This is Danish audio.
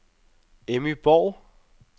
Emmy Borg